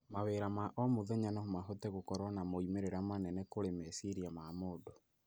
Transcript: Mawĩra ma o mũthenya no mahote gũkorwo na moimĩrĩra manene kũrĩ meciria ma mũndũ.